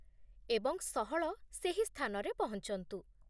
ଏବଂ ସହଳ ସେହି ସ୍ଥାନରେ ପହଞ୍ଚନ୍ତୁ।